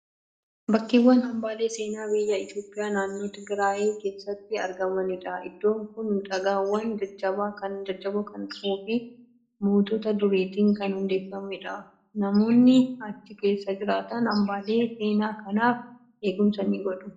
Bakkawwan hambaalee seenaa biyya Itoophiyaa, naannoo Tigiraayi keessatti argamanidha. Iddoon kun dhagaawwan jajjaboo kan qabuu fi mootota duriitiin kan hundeeffamedha. Namoonni achi keessa jiraatan hambaalee seenaa kanaaf eegumsa ni godhu.